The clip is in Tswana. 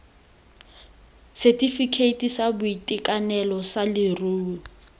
setefikeiti sa boitekanelo sa leruo